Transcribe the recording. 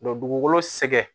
dugukolo sɛgɛn